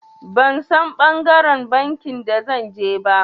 Ban San ɓangaren banki da zan je ba.